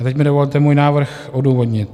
A teď mi dovolte svůj návrh odůvodnit.